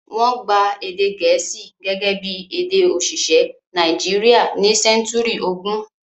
Wọ́n gba èdè Gẹ̀ẹ́sì gẹ́gẹ́ bí èdè òṣìṣẹ́ Nàìjíríà ní sẹ́ńtúrì ogún.